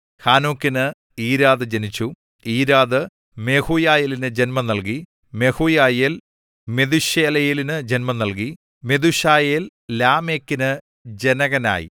ഹാനോക്കിന് Irad ജനിച്ചു Irad മെഹൂയയേലിനു ജന്മം നൽകി മെഹൂയയേൽ മെഥൂശയേലിനു ജന്മം നൽകി മെഥൂശയേൽ ലാമെക്കിനു ജനകനായി